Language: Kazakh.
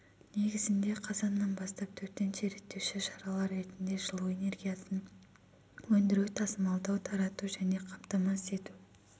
негізінде қазаннан бастап төтенше реттеуші шаралар ретінде жылу энергиясын өндіру тасымалдау тарату және қамтамасыз ету